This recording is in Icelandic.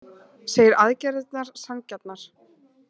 Segir aðgerðirnar sanngjarnar